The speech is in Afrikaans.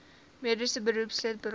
mediese beroepslid berading